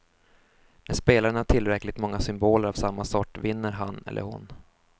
När spelaren har tillräckligt många symboler av samma sort vinner han eller hon.